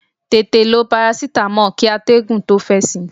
Tètè lo parasitamọ́ọ̀ kí atẹ́gùn tó fẹ́ sí í!